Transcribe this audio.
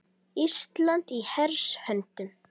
Ísland í hers höndum